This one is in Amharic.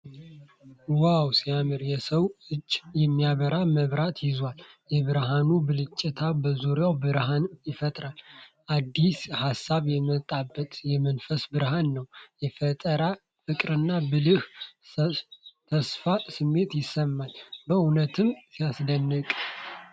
ዋው ሲያምር! የሰው እጅ የሚያበራ መብራት ይዟል። የብርሃኑ ብልጭታ በዙሪያው በርሃንን ይፈጥራል። አዲስ ሐሳብ የመጣበት የመንፈስ ብርሃን ነው። የፈጠራ ፍቅርና ብሩህ ተስፋ ስሜት ይሰማል። በእውነትም ሲያስደንቅ!